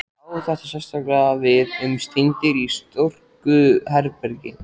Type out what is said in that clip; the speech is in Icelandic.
Á þetta sérstaklega við um steindir í storkubergi.